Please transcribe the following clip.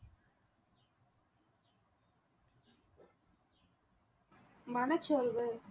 மனச்சோர்வு